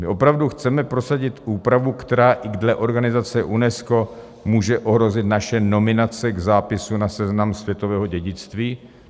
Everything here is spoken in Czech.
My opravdu chceme prosadit úpravu, která i dle organizace UNESCO může ohrozit naše nominace k zápisu na Seznam světového dědictví?